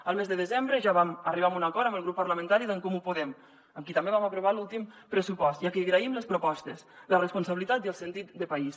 el mes de desembre ja vam arribar a un acord amb el grup parlamentari d’en comú podem amb qui també vam aprovar l’últim pressupost i a qui agraïm les propostes la responsabilitat i el sentit de país